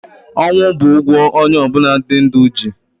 Ọnwụ bụ ụgwọ onye ọbụna dị ndụ ji.